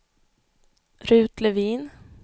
Rut Levin